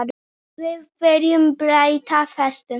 Við viljum breyta þessu.